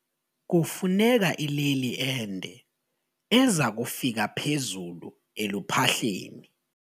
Kufuneka ileli ende eza kufika phezulu eluphahleni.